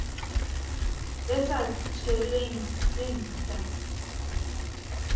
le sa tshelweng ke nta